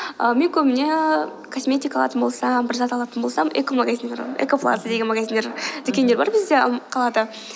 ааа мен көбіне косметика алатын болсам бір зат алатын болсам эко магазин эко плаза деген магазиндер дүкендер бар бізде қалада